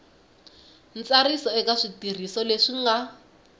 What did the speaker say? ntsariso eka switirhiso leswi nga